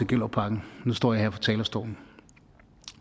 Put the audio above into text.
gellerupparken nu står jeg her på talerstolen